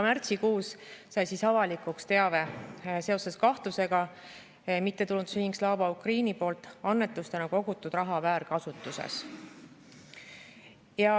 Märtsikuus sai aga avalikuks teave seoses kahtlusega mittetulundusühingu Slava Ukraini poolt annetustena kogutud raha väärkasutuses.